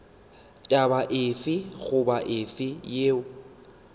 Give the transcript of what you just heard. taba efe goba efe yeo